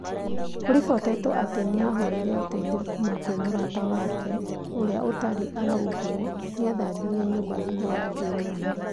kũribotetwo atĩ nĩahoire ũteithio kuma kwĩ mũrata wake ũria ũtaarĩ araugwo nĩathambirie nyũmba thutha wa njũragano